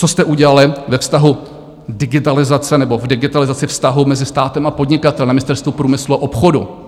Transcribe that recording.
Co jste udělali ve vztahu digitalizace, nebo k digitalizaci vztahů mezi státem a podnikatelem na Ministerstvu průmyslu a obchodu?